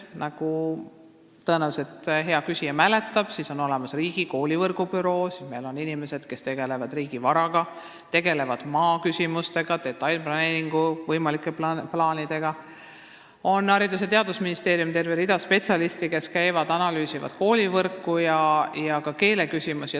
Nagu hea küsija tõenäoliselt mäletab, meil on riigis koolivõrgu büroo, meil on inimesed, kes tegelevad riigivaraga, maaküsimustega, ka võimalike detailplaneeringutega, Haridus- ja Teadusministeeriumis on terve rida spetsialiste, kes analüüsivad koolivõrku ja ka keeleküsimusi.